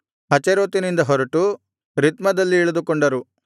ಹಚೇರೋತಿನಿಂದ ಹೊರಟು ರಿತ್ಮದಲ್ಲಿ ಇಳಿದುಕೊಂಡರು